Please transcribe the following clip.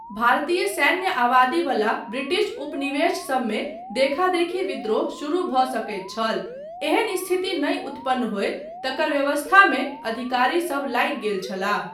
भारतीय सैन्य आबादी बला ब्रिटिश उपनिवेश सबमे देखादेखी विद्रोह शुरु भऽ सकैत छल, एहन स्थिति नहि उतपन्न होय तकर व्यवस्थामे अधिकारीसब लागि गेल छलाह।